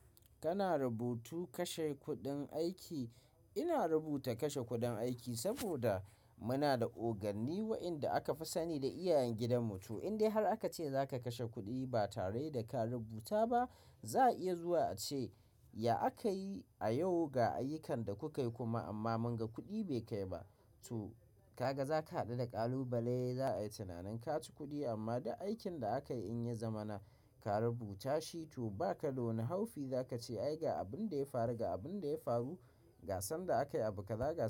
Kana rubutu kashe kuɗin aiki. Ina rubuta kashe kuɗin aiki saboda muna da oganni waɗanda akafi sani da iyayen gidan mutum. Indai har aka ce za ka kashe kuɗi ba tare da ka rubuta ba, za a iya zuwa a ce, ya aka yi a yau ga ayyukan da kukai kuma amma mun ga kuɗi bai kai ba. To, ka ga za ka haɗu da ƙalubale za a yi tunanin ka ci kuɗi amma da aikin da aka yi in ya zama na ka rubuta shi to ba ka da wani haufi za ka ce ai ga abin da ya faru ga abin da ya faru ga san da aka yi abu kaza ga.